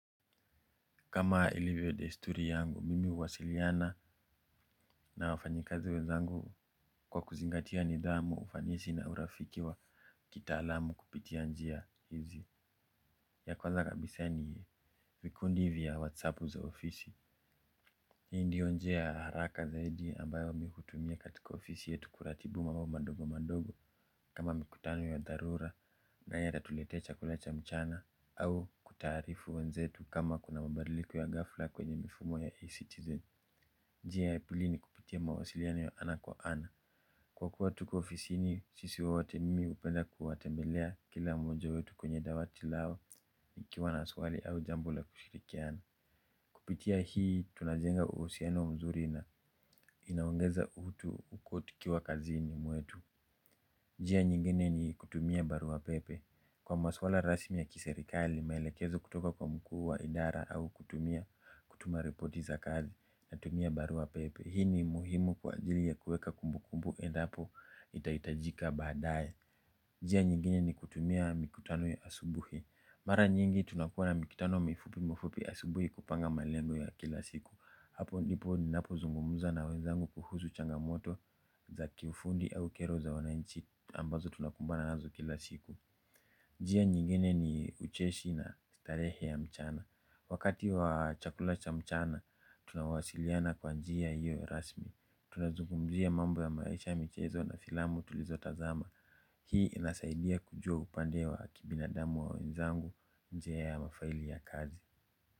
Kama ilivyo desturi yangu, mimi uwasiliana na wafanyi kazi wezangu kwa kuzingatia nidhamu, ufanisi na urafiki wa kitaalamu kupitia njia hizi. Ya kwanza kabisa ni vikundi vya WhatsApp za ofisi. Hii ndiyo njia ya haraka zaidi ambayo mi kutumia katika ofisi yetu kuratibu mambo madogo madogo. Kama mikutano ya darura, naye atatuletea chakula cha mchana. Au kutarifu wenzetu kama kuna mabadiliko ya gafla kwenye mifumo ya a-Citizen. Njia ya pili ni kupitia mawasiliano ya ana kwa ana. Kwa kuwa tuko ofisini sisi wote mimi upenda kuwatembelea kila moja wetu kwenye dawati lao nikiwa na swali au jambo la kushirikiana. Kupitia hii tunajenga uusiano mzuri na inawongeza uhutu uku tukiwa kazini muetu. Jia nyingine ni kutumia barua pepe. Kwa maswala rasmi ya kiserikali, maelekezo kutoka kwa mkuhu wa idara au kutumia kutuma reporti za kazi na tumia barua pepe. Hii ni muhimu kwa ajili ya kueka kumbukumbu endapo itaitajika badaye. Njia nyingine ni kutumia mikutano ya asubuhi. Mara nyingi tunakuwa na mikutano mifupi mifupi asubuhi kupanga malengo ya kila siku. Hapo ndipo ninapo zungumuza na wenzangu kuhuzu changamoto za kiufundi au kero za wananchi ambazo tunakumbana nazo kila siku. Njia nyingine ni ucheshi na starehe ya mchana. Wakati wa chakula cha mchana, tunawasiliana kwa njia hiyo rasmi. Tunazugumzi ya mambo ya maisha michezo na filamu tulizo tazama. Hii inasaidia kujua upande wa kibinadamu wa wenzangu nje ya mafaili ya kazi.